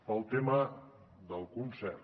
pel tema del concert